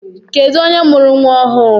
Kedụ onye mụrụ nwa ọhụụ?